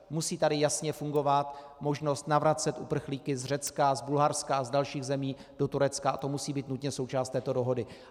Musí tady jasně fungovat možnost navracet uprchlíky z Řecka, z Bulharska a z dalších zemí do Turecka a to musí být nutně součást této dohody.